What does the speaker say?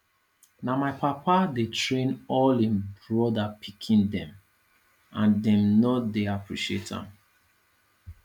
na my papa dey train all im brother pikin dem and dem no dey appreciate am